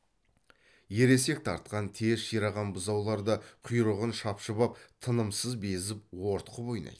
ересек тартқан тез шираған бұзаулар да құйрығын шапшып ап тынымсыз безіп ортқып ойнайды